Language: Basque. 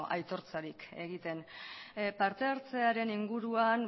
aitortzarik egiten partehartzearen inguruan